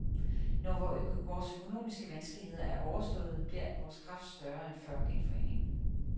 Når vores økonomiske vanskeligheder er overståede, bliver vores kraft større end før genforeningen.